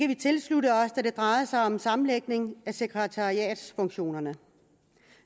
vi tilslutte os da det drejer sig om en sammenlægning af sekretariatsfunktionerne